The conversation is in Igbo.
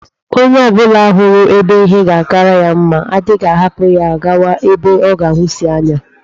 Onye obula huru ebe ihe ga-akara ya mma adighi ahapu ya gawa ebe o ga-ahusi anya.